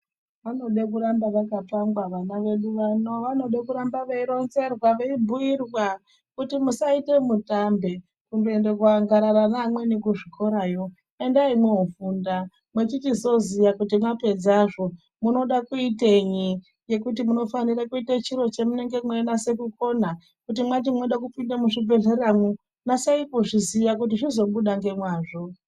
Anode kuramba akapangwa ana edu ano , anode kuramba veironzerwa veibhuirwa kuti musaita mutambe, kundoenda kundoangarara naamweni kuzvikorayo endai mwofunda. Mwechichizoziya kuti mwapedzezvo munoda kuitenyi,.Ngekuti munofanira kuita chiro chemunenge mweinase kukona. Kuti mwati mwoda kupinda muchibhedhleramwo nasai kuzviziya kuti zvizobuda ngemwazvo.